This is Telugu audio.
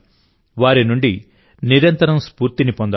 వారి నుండి నిరంతరం స్ఫూర్తిని పొందాలి